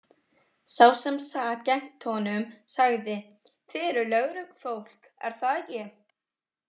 Sá sem sat gegnt honum sagði: Þið eruð lögreglufólk, er það ekki?